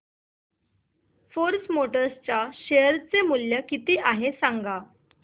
force Motors च्या share चे मूल्य किती आहे सांगा